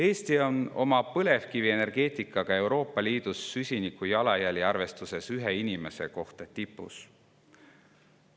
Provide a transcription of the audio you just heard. Eesti on oma põlevkivienergeetikaga süsiniku jalajälje arvestuses ühe inimese kohta Euroopa Liidus tipus.